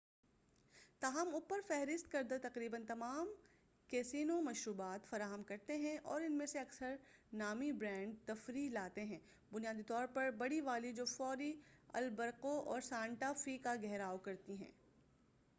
تاہم، اوپر فہرست کردہ تقریباً تمام کیسینو مشروبات فراہم کرتے ہیں، اور اُن میں سے اکثر نامی برانڈ تفریح لاتے ہیں بنیادی طور پر بڑی والی جو فوری البقرقو اور سانٹا فے کا گھیراؤ کرتی ہیں۔